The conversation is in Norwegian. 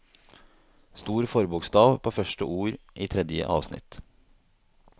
Stor forbokstav på første ord i tredje avsnitt